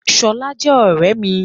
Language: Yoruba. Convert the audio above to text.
Ṣọlá jẹ́ ọ̀rẹ́ mi.